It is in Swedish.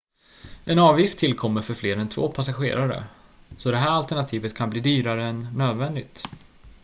en avgift tillkommer för fler än 2 passagerare så det här alternativet kan bli dyrare än nödvändigt